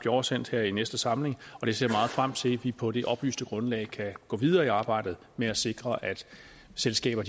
oversendt her i næste samling og jeg ser meget frem til at vi på det oplyste grundlag kan gå videre i arbejdet med at sikre at selskaber